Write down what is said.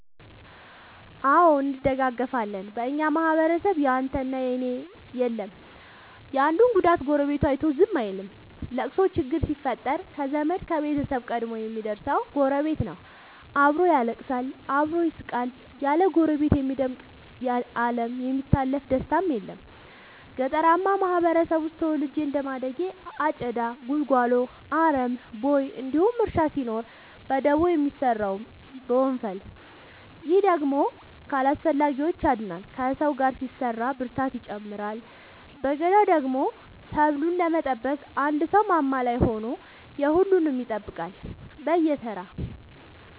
አዎ እንደጋገፋለን በኛ ማህበረሰብ ያንተ እና የኔ የለም የአንዱን ጉዳት ጎረቤቱ አይቶ ዝም አይልም። ለቅሶ ችግር ሲፈጠር ከዘመድ ከቤተሰብ ቀድሞ የሚደር ሰው ጎረቤት ነው። አብሮ ያለቅሳል አብሮ ይስቃል ያለ ጎረቤት የሚደምቅ አለም የሚታለፍ ደስታም የለም። ገጠርአማ ማህበረሰብ ውስጥ ተወልጄ እንደማደጌ አጨዳ ጉልጎሎ አረም ቦይ እንዲሁም እርሻ ሲኖር በደቦ ነው የሚሰራው በወንፈል። ይህ ደግሞ ከአላስፈላጊዎቺ ያድናል ከሰው ጋር ሲሰራ ብርታትን ይጨምራል። በገዳደሞ ሰብሉን ለመጠበቅ አንድ ሰው ማማ ላይ ሆኖ የሁሉም ይጠብቃል በየተራ።